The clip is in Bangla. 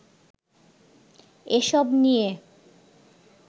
এসব নিয়ে